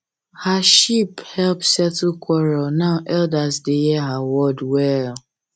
her sheep help settle quarrel now elders dey hear her word well